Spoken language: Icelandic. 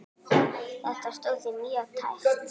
Þetta stóð því mjög tæpt.